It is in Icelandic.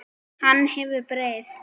Hann hefur breyst.